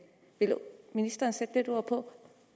vil ministeren sætte ord på